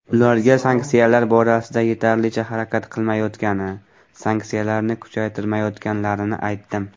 Ularga sanksiyalar borasida yetarlicha harakat qilmayotgani, sanksiyalarni kuchaytirmayotganlarini aytdim.